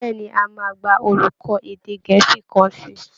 Bẹ́ẹ̀ ni, a máa gba olùkọ́ èdè gẹ̀ẹ́sì kan sí i